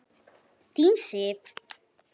Þín Sif.